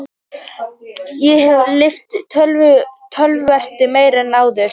Ég hef lyft töluvert meira en áður.